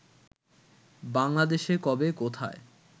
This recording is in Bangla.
বাংলাদেশে কবে, কোথায়